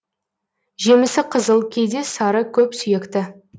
жемісі қызыл кейде сары көпсүйекті